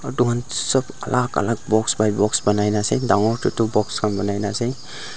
etu khan sob alag alag box pai box panai na ase dangor tetu box khan banai na ase.